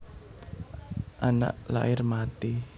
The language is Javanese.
Anak lair mati